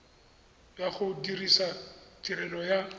ya go dirisa tirelo ya